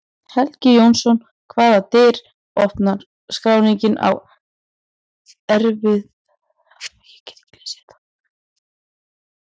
Helgi Jónsson Hvaða dyr opnar skráningin á erfðamengi mannsins?